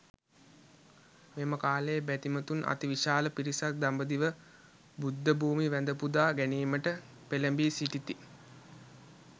මෙම කාලයේ බැතිමතුන් අති විශාල පිරිසක් දඹදිව බුද්ධ භූමි වැඳ පුදා ගැනීමට පෙළඹී සිටිති.